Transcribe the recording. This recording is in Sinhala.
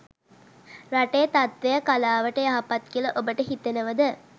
රටේ තත්ත්වය කලාවට යහපත් කියලා ඔබට හිතෙනවද?